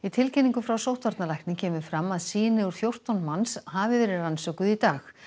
tilkynningu frá sóttvarnalækni kemur fram að sýni úr fjórtán manns hafi verið rannsökuð í dag